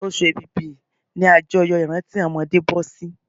Oṣù èbìbí ni àjọyọ̀ ìrántí àwọn ọmọdé bọ́sí